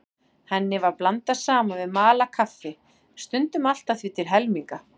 Henni var blandað saman við malað kaffi, stundum allt að því til helminga.